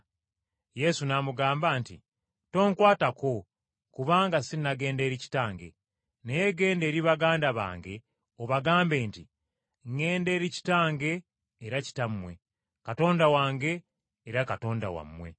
Yesu n’amugamba nti, “Tonkwatako kubanga sinnagenda eri Kitange. Naye genda eri baganda bange obagambe nti, ŋŋenda eri Kitange era Kitammwe, Katonda wange era Katonda wammwe.”